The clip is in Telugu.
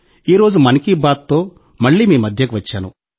ఈరోజు 'మన్కీ బాత్'తో మళ్ళీ మీ మధ్యకు వచ్చాను